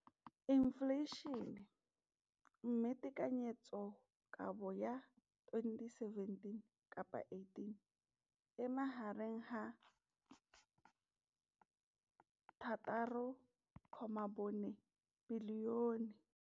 Infleišene, mme tekanyetsokabo ya 2017 le 2018 e magareng ga R6.4 bilione.